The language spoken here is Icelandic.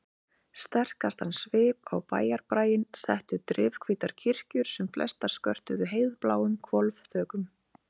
Sterkastan svip á bæjarbraginn settu drifhvítar kirkjur sem flestar skörtuðu heiðbláum hvolfþökum.